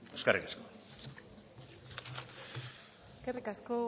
eskerrik asko eskerrik asko